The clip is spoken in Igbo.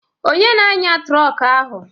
Onye na-anya trọk ahụ?